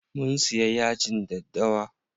Mun siya yajin daddawa.